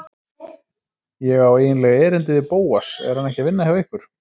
Ég á eiginlega erindi við Bóas, er hann ekki að vinna hjá ykkur?